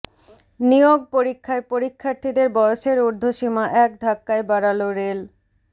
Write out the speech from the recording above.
নিয়োগ পরীক্ষায় পরীক্ষার্থীদের বয়সের উর্ধ্বসীমা এক ধাক্কায় বাড়াল রেল